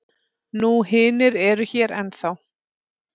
Nú hinir eru hér ennþá.